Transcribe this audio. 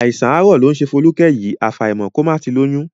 Àìsàn àárọ̀ ló ń ṣe Folúkẹ́ yìí, àfàìmọ̀ kó má ti lóyún